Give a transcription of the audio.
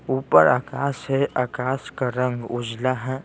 ऊपर आकाश हैं आकाश का रंग उजला हैं ।